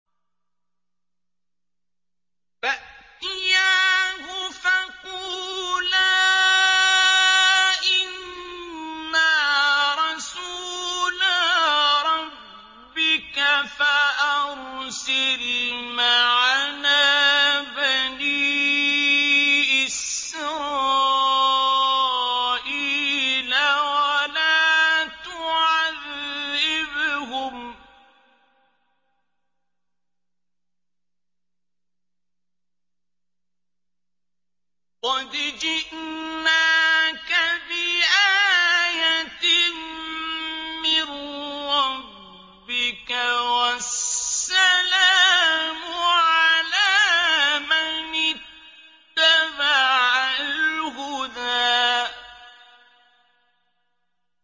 فَأْتِيَاهُ فَقُولَا إِنَّا رَسُولَا رَبِّكَ فَأَرْسِلْ مَعَنَا بَنِي إِسْرَائِيلَ وَلَا تُعَذِّبْهُمْ ۖ قَدْ جِئْنَاكَ بِآيَةٍ مِّن رَّبِّكَ ۖ وَالسَّلَامُ عَلَىٰ مَنِ اتَّبَعَ الْهُدَىٰ